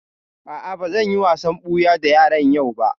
A'a, ba zan yi wasan ɓuya da yaran yau ba